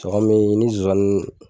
kɔmi ni zozani